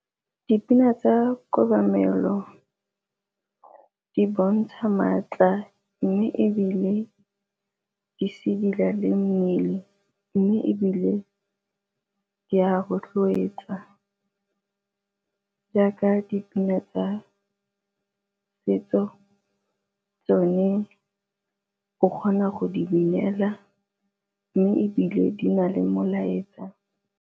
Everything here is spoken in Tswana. Dipina tsa kobamelo di bontsha maatla mme ebile di sedila le mmele. Mme ebile di a rotloetsa jaaka dipina tsa setso tsone o kgona go di binela mme ebile di na le molaetsa.